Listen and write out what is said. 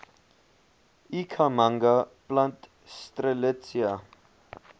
ikhamanga plant strelitzia